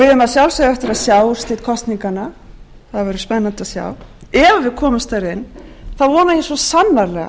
að sjálfsögðu eftir að sjá úrslit kosninganna það verður spennandi að sjá ef við komumst þar inn þá vona ég svo sannarlega